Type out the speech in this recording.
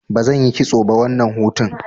Bazan yi kitso ba wannan hutun.